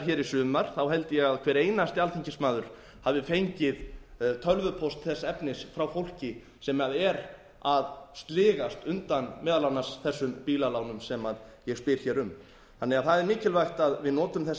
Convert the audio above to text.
hér í sumar held ég að hver einasti alþingismaður hafi fengið tölvupóst þess efnis frá fólki sem er að sligast undan meðal annars þessum bílalánum sem ég spyr hér um það er því mikilvægt að við notum